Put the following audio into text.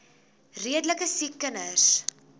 redelike siek kinders